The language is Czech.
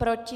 Proti?